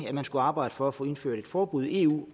at man skulle arbejde for at få indført et forbud i eu